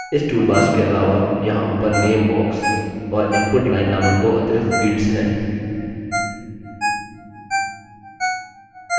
इस toolbars के अलावा यहाँ ऊपर name box और input line name दो अतिरिक्त fields हैं